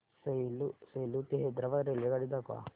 सेलू ते हैदराबाद रेल्वेगाडी दाखवा